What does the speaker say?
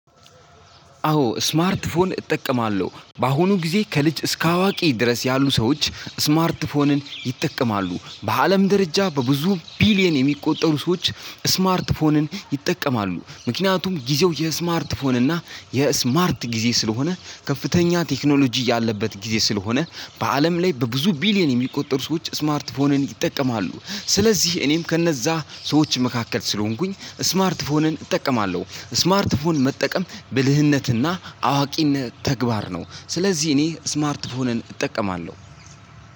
አዎ ስማርት ፎን እጠቀማለሁ። በአሁኑ ጊዜ ከልጅ እስከ አዋቂ ድረስ ያሉ ሰዎች ስማርት ፎንን ይጠቀማሉ። በአለም ደረጃ በብዙ ቢሊየን የሚቆጠሩ ሰዎች ስማርት ስማርት ፎንን ይጠቀማሉ። ምክንያቱም ጊዜው የስማርት ፎን እና የስማርት ጊዜ ስለሆነ ከፍተኛ ቴክኖሎጂ ያለበት ጊዜ ስለሆነ በዕስለም ላይ በብዙ ቢሊየን የሚቆጠሩ ሰዎች ስማርት ፎንን ይጠቀማሉ ስለዚህ እኔም ከነዛ ሰዎች መካከል ስለሆንኩኝ ስማርት ፎንን እጠቀማለሁ። ስማርት ፎን መጠቀም ብልህነትና አዋቂነት ተግባር ነው። ስለዚህ እኔ ስማርት ፎንን እጠቀማለሁ።